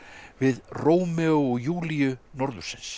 við Rómeó og Júlíu norðursins